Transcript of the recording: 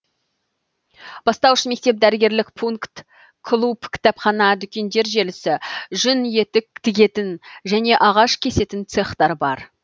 бастауыш мектеп дәрігерлік пункт клуб кітапхана дүкендер желісі жүн етік тігетін және ағаш кесетін цехтар бар